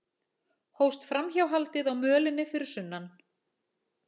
Hófst framhjáhaldið á mölinni fyrir sunnan